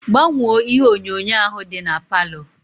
Gbanwo ihe onyonyo ahu di na parlour.